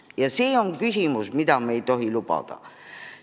Ja see on asi, mida me ei tohi lubada.